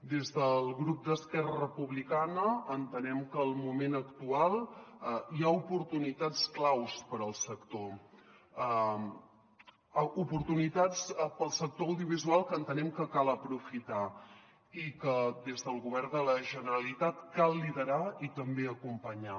des del grup d’esquerra republicana entenem que en el moment actual hi ha oportunitats claus per al sector oportunitats per al sector audiovisual que entenem que cal aprofitar i que des del govern de la generalitat cal liderar i també acom·panyar